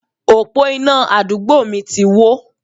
Òpó iná àdúgbò mi ti wó.